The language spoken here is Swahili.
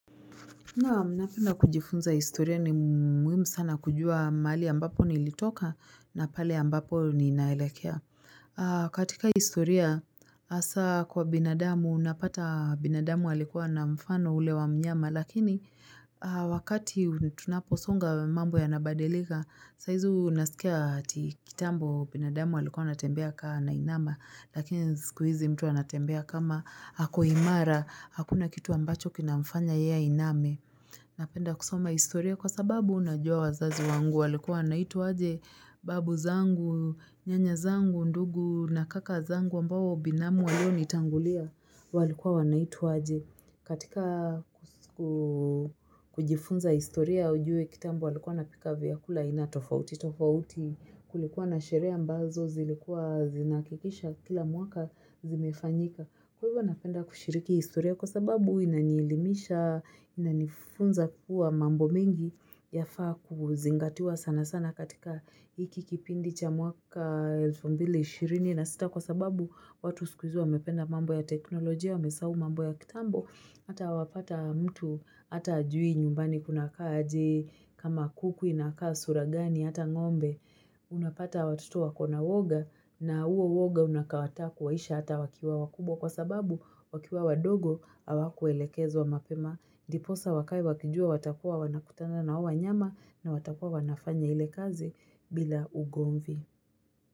Naam napenda kujifunza historia ni muhimu sana kujua mahali ambapo nilitoka na pale ambapo ninaelekea. Katika historia hasa kwa binadamu unapata binadamu alikua na mfano ule wa mnyama lakini wakati tunaposonga mambo yanabadilika saa hizo unasikia ati kitambo binadamu alikua anatembea kaa anainama lakini siku hizi mtu anatembea kama ako imara hakuna kitu ambacho kinamfanya ye ainame. Napenda kusoma historia kwa sababu unajua wazazi wangu walikuwa wanaitwa aje babu zangu, nyanya zangu, ndugu na kaka zangu ambawo binamu walionitangulia walikuwa wanaitwa aje. Katika kujifunza historia ujue kitambo walikuwa wanapika vyakula aina tofauti, tofauti kulikuwa na sherehe ambazo zilikuwa zinahakikisha kila mwaka zimefanyika. Kwa hivyo napenda kushiriki historia kwa sababu inanielimisha, inanifunza kuwa mambo mengi yafaa kuzingatiwa sana sana katika hiki kipindi cha mwaka elfu mbili ishirini na sita kwa sababu watu siku hizi wamependa mambo ya teknolojia, wamesahau mambo ya kitambo, hata wapata mtu, hata hajui nyumbani kunakaa aje, kama kuku inakaa sura gani, hata ngombe. Unapata watoto wako na woga na huo woga unakawata kuwaisha hata wakiwa wakubwa kwa sababu wakiwa wadogo hawakuelekezwa mapema ndiposa wakae wakijua watakuwa wanakutana na hao nyama na watakuwa wanafanya ile kazi bila ugomvi.